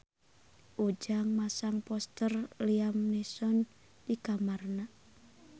Ujang masang poster Liam Neeson di kamarna